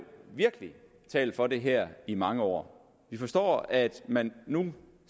virkelig har talt for det her i mange år vi forstår at man nu